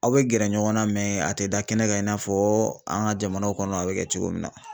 Aw bɛ gɛrɛ ɲɔgɔn na a tɛ da kɛnɛ kan i n'a fɔ an ka jamana kɔnɔ a bɛ kɛ cogo min na.